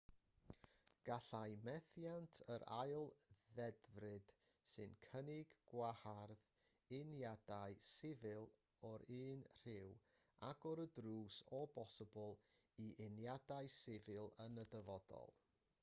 gallai methiant yr ail ddedfryd sy'n cynnig gwahardd uniadau sifil o'r un rhyw agor y drws o bosibl i uniadau sifil yn y dyfodol